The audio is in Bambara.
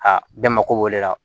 Aa bɛɛ mako b'o de la